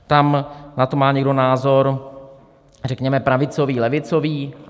Tam na to má někdo názor řekněme pravicový, levicový.